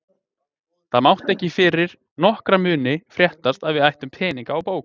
Það mátti ekki fyrir nokkra muni fréttast að við ættum peninga á bók.